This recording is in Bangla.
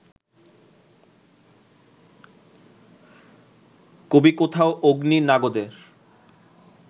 কবি কোথাও অগ্নি-নাগদের